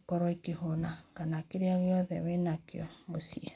ĩkorwo ĩkĩhũna kana kĩrĩa gĩothe wĩnakĩo mũciĩ.